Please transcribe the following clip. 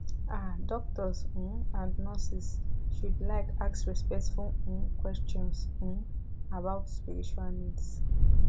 ah doctors um and nurses should like ask respectful um questions um about spiritual needs